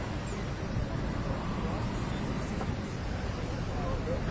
Ondan sonra avto təmirlər üçün hər bir şey var.